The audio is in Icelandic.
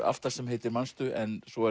aftast sem heitir manstu en svo